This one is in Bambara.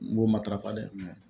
N b'o matarafa dɛ